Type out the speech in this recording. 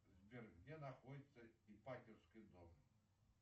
сбер где находится ипатьевский дом